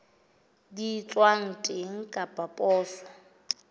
di etswang teng ka poso